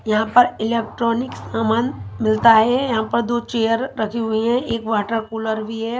यहाँ पर इलेक्ट्रॉनिक सामान मिलता हैं यहाँ पर दो चेयर रखी हुई हैं एक वाटर कूलर भी हैं।